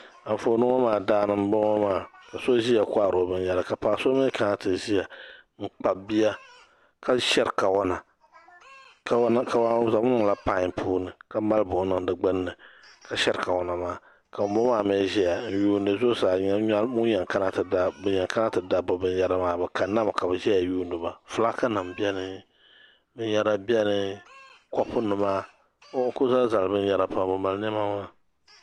Anfooni ŋɔmaa daani mboŋɔ maa ka so ʒiya kohari o binyɛra ka paɣ"so mi kana ti ʒiya n kpabi bia ka shɛri kawana kawana bɛ zaŋmi niŋla pai puuni ka mali buɣim niŋ di gbinni ka shɛri kawana maa ka ŋunboŋɔ maa mii ʒɛya n yuuni zuɣusaa zuɣusaa ni o nya ŋun yen kana n ti da bɛ binyera maa bɛ kaninami ka bɛ zaya n yuuniba filaaki nima beni binyɛra beni kopunima n kuli zali zali binyɛra pam bɛ mali niɛma ŋuna.